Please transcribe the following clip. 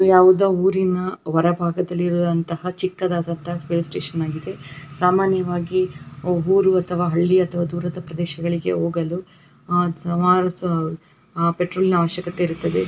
ಯಾವುದೊ ಊರಿನ ಹೊರಭಾಗದಲ್ಲಿ ಇರುವಂತಹ ಚಿಕ್ಕದಾದಂತಹ ಪ್ಲೇ ಸ್ಟೇಷನ್ ಆಗಿದೆ. ಸಾಮಾನ್ಯವಾಗಿ ಊರು ಅಥವಾ ಹಳ್ಳಿ ಅಥವಾ ದೂರದ ಪ್ರದೇಶಗಳಿಗೆ ಹೋಗಳು ಅಹ್ ಸಮರಸ ಅಹ್ ಪೆಟ್ರೋಲ್ ನಾ ಅವಶ್ಯಕತೆ ಇರುತ್ತದೆ.